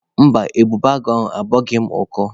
Mba, ebubeagụ ahụ agbọghị m ọkọ.